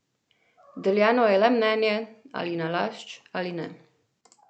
Deljeno je le mnenje, ali nalašč ali ne.